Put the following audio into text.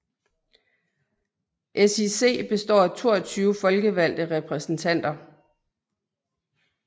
SIC består af 22 folkevalgte repræsentanter